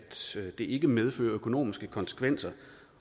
det ikke medfører økonomiske konsekvenser